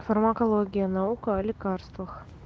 фармакология наука о лекарствах